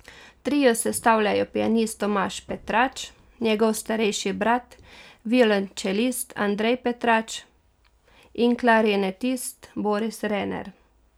Trio sestavljajo pianist Tomaž Petrač, njegov starejši brat, violončelist Andrej Petrač in klarinetist Boris Rener.